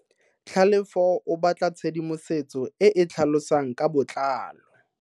Tlhalefo o batla tshedimosetso e e tlhalosang ka botlalo.